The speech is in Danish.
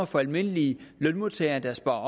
for almindelige lønmodtagere der sparer